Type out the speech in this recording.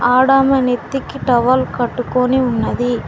ఆడమే నెత్తికి టవల్ కట్టుకొని ఉన్నది.